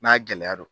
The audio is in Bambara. N'a gɛlɛya don